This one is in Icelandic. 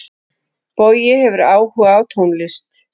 Bogi hefur áhuga á tónlist.